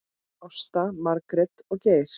Ásta, Margrét og Geir.